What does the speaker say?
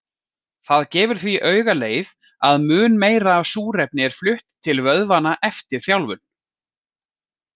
Það gefur því augaleið að mun meira af súrefni er flutt til vöðvanna eftir þjálfun.